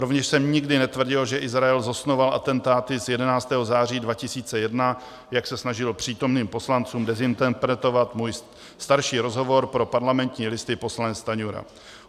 Rovněž jsem nikdy netvrdil, že Izrael zosnoval atentáty z 11. září 2001, jak se snažil přítomným poslancům dezinterpretovat můj starší rozhovor pro Parlamentní listy poslanec Stanjura.